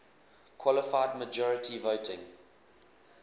qualified majority voting